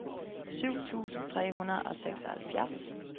syv tusind tre hundrede og seksoghalvfjerds